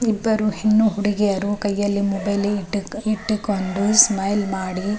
ಇಬ್ಬರು ಹೆಣ್ಣು ಹುಡುಗಿಯರು ಕೈಯಲ್ಲಿ ಮೊಬೈಲ್ ಇಟ್ಟು ಇಟ್ಟುಕೊಂಡು ಸ್ಮೈಲ್ ಮಾಡಿ --